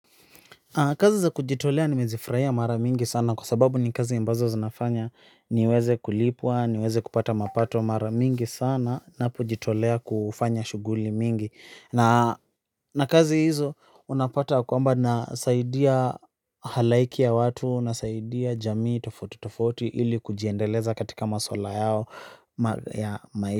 Kazi za kujitolea nimezifurahia mara mingi sana kwa sababu ni kazi ambazo zinafanya niweze kulipwa, niweze kupata mapato mara mingi sana ninapojitolea kufanya shughuli mingi na na kazi hizo unapata kwamba nasaidia halaiki ya watu nasaidia jamii tofauti tofauti ili kujiendeleza katika maswala yao ya maisha.